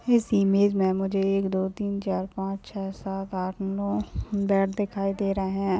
इस इमेज में मुझे एक दो तीन चार पांच छः सात आठ नव बैट दिखाई दे रहे हैं।